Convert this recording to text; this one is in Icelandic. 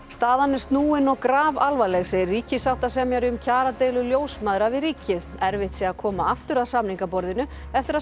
staðan er snúin og grafalvarleg segir ríkissáttasemjari um kjaradeilu ljósmæðra við ríkið erfitt sé að koma aftur að samningaborðinu eftir að